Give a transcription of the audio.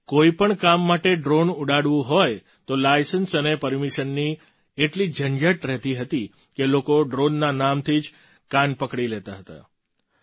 જો તમારે કોઈ પણ કામ માટે ડ્રૉન ઉડાડવું હોય તો લાયસન્સ અને પરમિશનની એટલી ઝંઝટ રહેતી હતી કે લોકો ડ્રૉનના નામથી જ કાન પકડી લેતા હતા